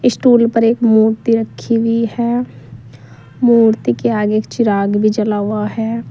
Stool पर एक मूर्ति रखी हुई है मूर्ति के आगे एक चिराग भी जला हुआ है।